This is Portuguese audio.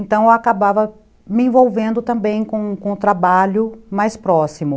Então, eu acabava me envolvendo também com com o trabalho mais próximo.